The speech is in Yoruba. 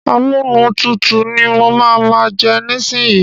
Amúnútutù ni mà á má jẹ nísíyí.